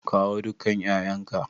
Kawo dukan 'ya'yanka!